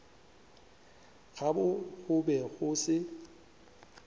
gabo go be go se